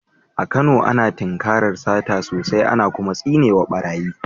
A Kano, ana tinkarar sata sosai, ana kuma tsine wa barayi.